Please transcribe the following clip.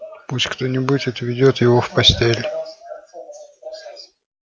пусть кто-нибудь отведёт его в постель